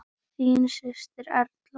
Þín systir, Erla.